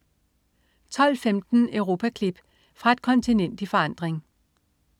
12.15 Europaklip. Fra et kontinent i forandring